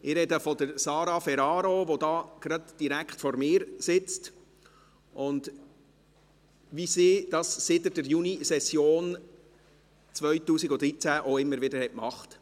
Ich spreche von Sara Ferraro, die direkt vor mir sitzt, wie sie dies seit der Junisession 2013 immer wieder getan hat.